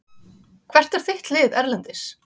Hvert er þitt lið erlendis?